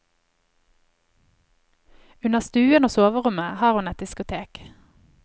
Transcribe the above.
Under stuen og soverommet har hun et diskotek.